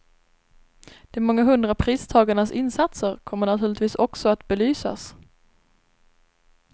De många hundra pristagarnas insatser kommer naturligtvis också att belysas.